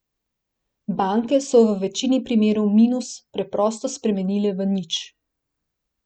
Banke so v večini primerov minus preprosto spremenile v nič.